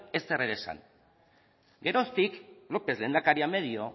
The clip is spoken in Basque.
ezer ere ez esan geroztik lópez lehendakaria medio